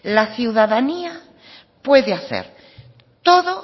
la ciudadanía pude hacer todo